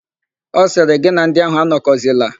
Ọ sịrị, "gị na ndị áhụ̀ anọkọzila"!